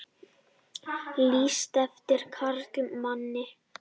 Lýst eftir karlmanni